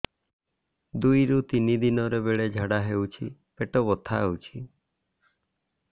ଦୁଇରୁ ତିନି ଦିନରେ ବେଳେ ଝାଡ଼ା ହେଉଛି ପେଟ ବଥା ହେଉଛି